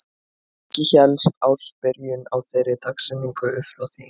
Ekki hélst ársbyrjun á þeirri dagsetningu upp frá því.